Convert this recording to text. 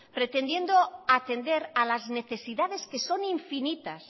pretendiendo atender a las necesidades que son infinitas